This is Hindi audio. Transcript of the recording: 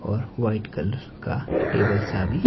और वाइट कलर का टेबल सा भी--